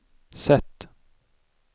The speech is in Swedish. sätt